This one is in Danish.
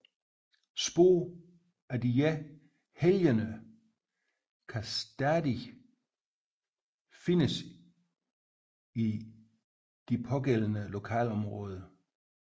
Spor af disse helgener kan stadig findes i de pågældende lokalområder